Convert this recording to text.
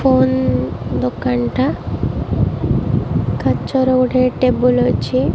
Phone ଦୋକାନ୍ ଟା କାଚର ଗୋଟେ ଟେବୁଲ୍ ଅଛି।